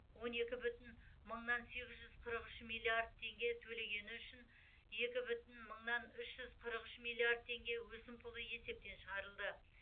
он екі бүтін мыңнан сегіз жүз қырық үш миллиард теңге төлегені үшін екі бүтін мыңнан үш жүз қырық үш миллиард теңге өсімпұлы есептен шығарылды